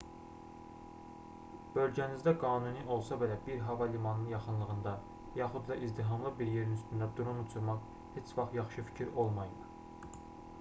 bölgənizdə qanuni olsa belə bir hava limanının yaxınlığında yaxud da izdihamlı bir yerin üstündə dron uçurmaq heç vaxt yaxşı fikir olmayıb